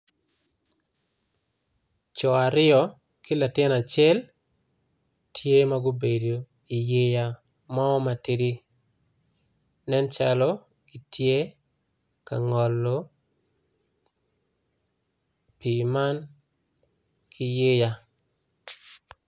Coo aryo ki latin acel tye magubedo i mo matidi nen calo kitye ka ngolo pi man kiyeya.